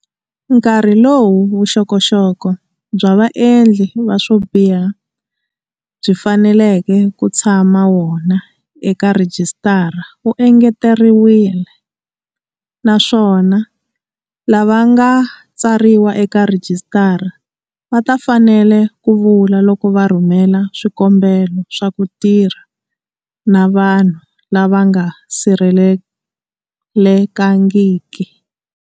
Nkarhi lowu vuxokoxoko bya vaendli va swo biha byi faneleke ku tshama wona eka rhijisitara wu engeteriwile, naswona lava nga tsariwa eka rhijisitara va ta fanela ku vula loko va rhumela swikombelo swa ku tirha na vanhu lava nga sirhelelekangiki.